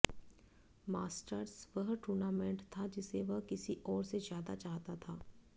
masters वह tournament था जिसे वह किसी और से ज्यादा चाहता था